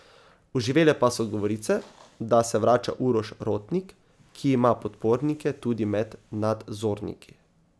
Oživele pa so govorice, da se vrača Uroš Rotnik, ki ima podpornike tudi med nadzorniki.